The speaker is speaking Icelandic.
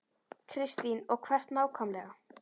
Kristín: Og hvert nákvæmlega?